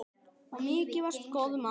Og mikið varstu góður maður.